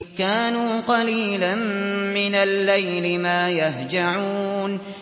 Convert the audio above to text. كَانُوا قَلِيلًا مِّنَ اللَّيْلِ مَا يَهْجَعُونَ